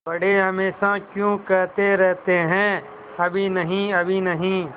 बड़े हमेशा क्यों कहते रहते हैं अभी नहीं अभी नहीं